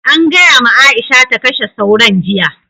An gaya ma Aisha ta kashe sauron jiya.